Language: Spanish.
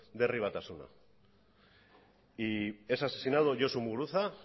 de herri batasuna y es asesinado josu muguruza